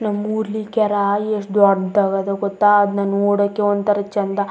ನಮ್ಮೂರ್ ಲಿ ಕೇರಾ ಎಷ್ಟ ದೊಡ್ಡದಾಗದ್ ಗೊತ್ತಾ ಅದ್ನ ನೋಡಕ್ಕೆ ಒಂತರ ಚಂದಾ --